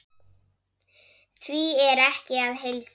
Því er ekki að heilsa.